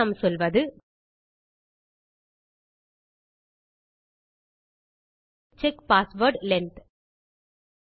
பின் நாம் சொல்வது check password length